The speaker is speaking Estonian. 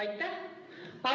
Aitäh!